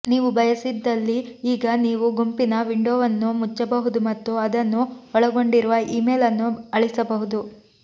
ನೀವು ಬಯಸಿದಲ್ಲಿ ಈಗ ನೀವು ಗುಂಪಿನ ವಿಂಡೋವನ್ನು ಮುಚ್ಚಬಹುದು ಮತ್ತು ಅದನ್ನು ಒಳಗೊಂಡಿರುವ ಇಮೇಲ್ ಅನ್ನು ಅಳಿಸಬಹುದು